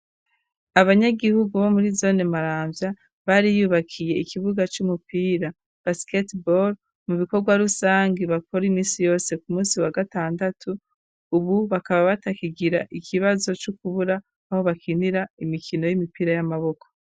Abanyagihugu bo muri zone Maramvya bariyubakiye ikibuga c'umupira basketball, mu bikorwa rusange bakora imisi yose ku munsi wa gatandatu, ubu bakaba batakigira ikibazo co kubura aho bakinira imikino y'imipira y'amaboko.